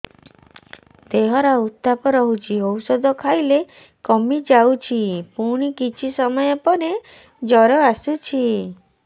ଦେହର ଉତ୍ତାପ ରହୁଛି ଔଷଧ ଖାଇଲେ କମିଯାଉଛି ପୁଣି କିଛି ସମୟ ପରେ ଜ୍ୱର ଆସୁଛି